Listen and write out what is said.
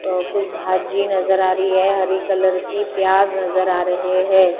अ कुछ भाजी नजर आ रही है हरी कलर की प्याज नजर आ रहे है।